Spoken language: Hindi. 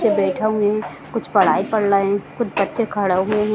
कुछ बच्चे बैठे हैं कुछ पढ़ाई पढ़ रहे हैं कुछ बच्चे खड़े हैं।